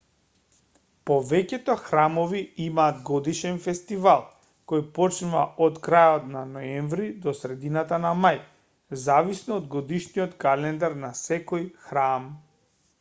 повеќето храмови имаат годишен фестивал кој почнува од крајот на ноември до средината на мај зависно од годишниот календар на секој храм